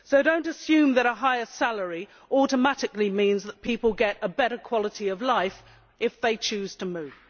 So do not assume that a higher salary automatically means that people get a better quality of life if they choose to move.